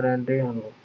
ਰਹਿੰਦੇ ਹਨ।